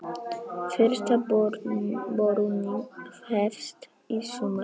Fyrsta borunin hefst í sumar.